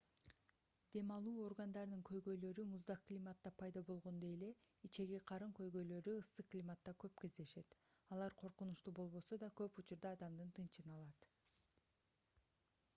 дем алуу органдарынын көйгөйлөрү муздак климатта пайда болгондой эле ичеги-карын көйгөлөрү ысык климатта көп кездешет алар коркунучтуу болбосо да көп учурда адамдын тынчын алат